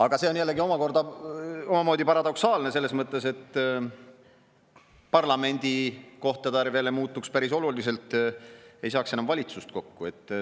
Aga see on jällegi omamoodi paradoksaalne selles mõttes, et parlamendikohtade arv muutuks päris oluliselt: ei saaks enam valitsust kokku.